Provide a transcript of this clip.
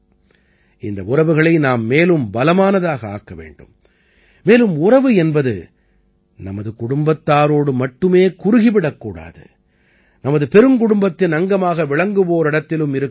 இந்த உறவுகளை நாம் மேலும் பலமானதாக ஆக்க வேண்டும் மேலும் உறவு என்பது நமது குடும்பத்தாரோடு மட்டுமே குறுகி விடக்கூடாது நமது பெருங்குடும்பத்தின் அங்கமாக விளங்குவோரிடத்திலும் இருக்க வேண்டும்